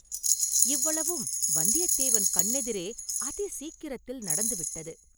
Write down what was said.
இவ்வளவும் வந்தியத்தேவன் கண்ணெதிரே அதி சீக்கிரத்தில் நடந்து விட்டது.